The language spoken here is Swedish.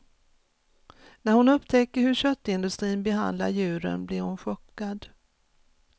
När hon upptäcker hur köttindustrin behandlar djuren blir hon chockad.